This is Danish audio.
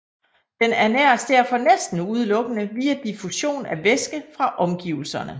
Den ernæres derfor næsten udelukkende via diffusion af væske fra omgivelserne